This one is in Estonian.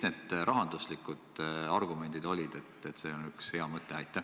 Millised olid need rahanduslikud argumendid, mille alusel otsustati, et see on üks hea mõte?